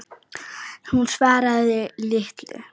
Hún svaraði litlu.